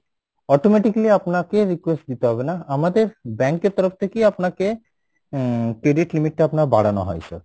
automatically আপনাকে request দিতে হবে না আমাদের bank এর তরফ থেকে আপনাকে আহ credit limit টা আপনার বাড়ানো হয় sir